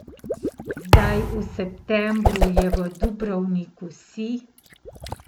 Zdaj v septembru je v Dubrovniku sij.